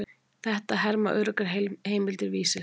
Þetta herma öruggar heimildir Vísis.